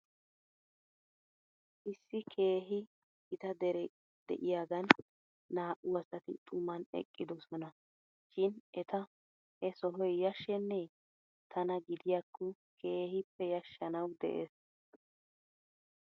Issi keehi gita deree de'iyaagan naa'u asati xuman eqqidosona shin eta he sohoy yashshenee? Tana gidiyaakko keehippe yashshanaw de'es ?